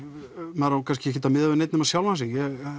maður á kannski ekki að miða við neinn annan sjálfan sig